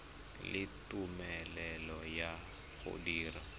le tumelelo ya go dira